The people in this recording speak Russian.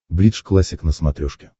бридж классик на смотрешке